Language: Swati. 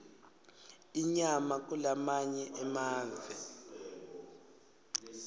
inyama kulamanye emave